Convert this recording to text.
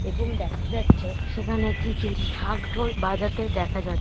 এবং দেখা যাচ্ছে সেখানে কিছু ঢাক ঢোল বাজাতে দেখা যা--